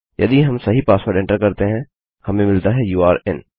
यदि हम सही पासवर्ड एंटर करते हैं हमें मिलता है यूरे इन